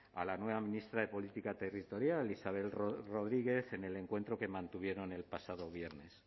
a la nueva ministra de política territorial isabel rodríguez en el encuentro que mantuvieron el pasado viernes